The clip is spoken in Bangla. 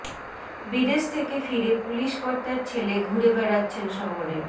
বিদেশ থেকে ফিরে পুলিশ কর্তার ছেলে ঘুরে বেড়াচ্ছেন শহরে